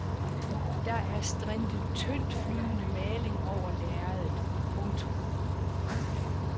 Der er strintet tyndtflydende maling over lærredet. punktum